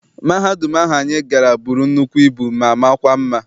Mahadum ahu anyị gara bụrụ nnukwu ibu ma makwa mma.